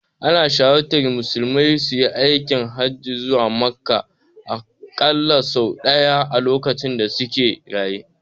Ana shawartar musulmi suyi aikin hajji zuwa Makka aƙalla sau ɗaya lokacin da suke raye.